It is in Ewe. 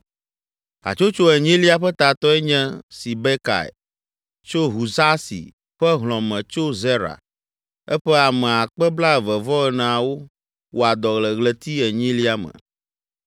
Hatsotso enyilia ƒe tatɔe nye Sibekai tso Husasi ƒe hlɔ̃ me tso Zera. Eƒe ame akpe blaeve-vɔ-eneawo (24,000) wɔa dɔ le ɣleti enyilia me.